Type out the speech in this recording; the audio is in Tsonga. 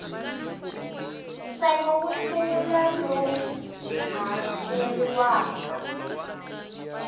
ntsengo wo sungula lowu hakeriwaka